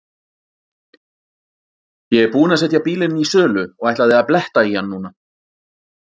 Ég er búinn að setja bílinn í sölu og ætlaði að bletta í hann núna.